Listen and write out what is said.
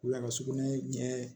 Wula ka sugunɛ ɲɛ